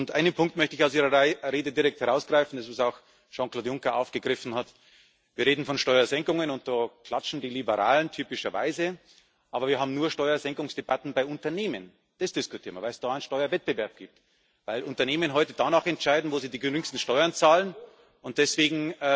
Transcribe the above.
Einen Punkt möchte ich aus Ihrer Rede direkt herausgreifen, den auch Jean Claude Juncker aufgegriffen hat Wir reden von Steuersenkungen, und da klatschen die Liberalen typischerweise, aber wir haben nur Steuersenkungsdebatten bei Unternehmen. Das diskutieren wir, weil es da einen Steuerwettbewerb gibt, weil Unternehmen heute danach entscheiden, wo sie die geringsten Steuern zahlen, und deswegen